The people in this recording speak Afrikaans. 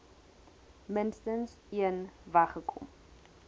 minstens een weggekom